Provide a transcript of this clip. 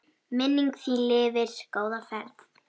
Minning þín lifir, góða ferð.